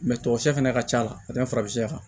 tɔ sɛ fɛnɛ ka ca ka tɛmɛ farafinya kan